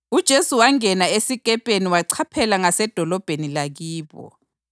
UJesu wangena esikepeni wachaphela ngasedolobheni lakibo.